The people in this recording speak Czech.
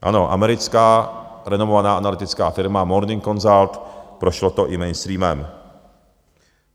Ano, americká renomovaná analytická firma Morning Consult, prošlo to i mainstreamem.